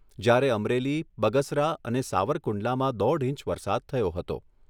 જ્યારે અમરેલી બગસરા અને સાવરકુંડલામાં દોઢ ઇંચ વરસાદ થયો હતો.